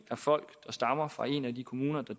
folk der stammer fra en af de kommuner der